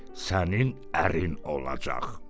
Sənin ərin olacaq".